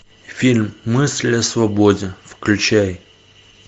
фильм мысли о свободе включай